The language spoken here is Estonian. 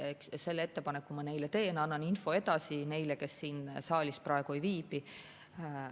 Selle ettepaneku ma neile teen, annan info edasi neile, kes siin saalis praegu ei viibi.